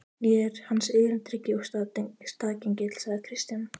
Ég er hans erindreki og staðgengill, sagði Christian.